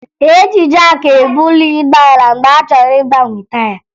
E ji jaakị ebuli ụgbọala mgbe a chọrọ ịgbanwe taya